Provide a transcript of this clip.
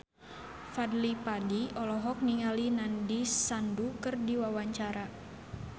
Fadly Padi olohok ningali Nandish Sandhu keur diwawancara